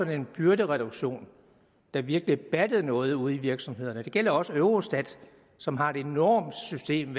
en byrdereduktion der virkelig battede noget ude i virksomhederne statistik det gælder også eurostat som har et enormt system